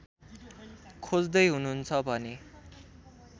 खोज्दै हुनुहुन्छ भने